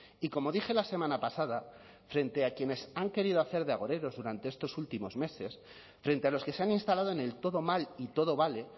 y como dije la semana pasada frente a quienes han querido hacer de agoreros durante estos últimos meses frente a los que se han instalado en el todo mal y todo vale